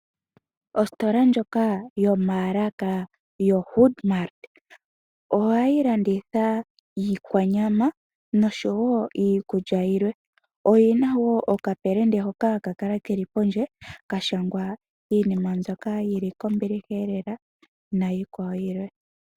Ositola ndjoka yomaalaka yoHoodMart ohayi landitha iikwanyama noshowo iikulya yilwe. Oyina wo okapelende hoka haka kala keli pondje kashangwa iinima mbyoka yili kombiliha elela naayikwawo yilwe.